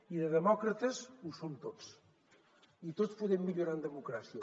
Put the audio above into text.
i de demòcrates ho som tots i tots podem millorar en democràcia